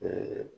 Ɛɛ